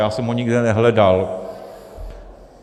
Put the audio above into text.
Já jsem ho nikde nehledal.